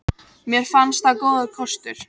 Mér fannst það góður kostur.